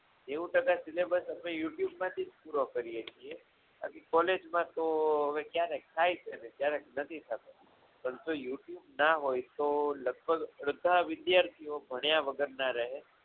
નેવું ટકા syllabus આપણી youtube માંથી જ પૂરો કરીએ છીએ બાકી college માં તો હવે ક્યારેક થાય છે અને ક્યારેક નથી થતું પરંતુ આ youtube ના હોય તો અડધા વિદ્યાર્થીઓ ભણ્યા વગરના રહે.